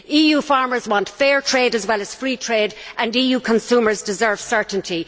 EU farmers want fair trade as well as free trade, and EU consumers deserve certainty.